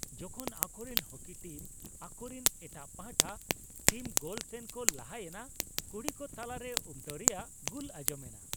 ᱡᱚᱠᱷᱚᱱ ᱟᱠᱚᱨᱮᱱ ᱦᱩᱠᱤ ᱴᱤᱢ ᱟᱠᱚᱨᱤᱱ ᱮᱴᱟᱜ ᱯᱟᱦᱴᱟ ᱴᱤᱢ ᱜᱳᱞ ᱥᱮᱱ ᱠᱚ ᱞᱟᱦᱟᱭᱮᱱᱟ, ᱠᱩᱲᱤᱠᱚ ᱛᱟᱞᱟᱨᱮ ᱩᱢᱴᱟᱹᱣ ᱨᱮᱭᱟᱜ ᱜᱩᱞ ᱟᱸᱡᱚᱢᱮᱱᱟ ᱾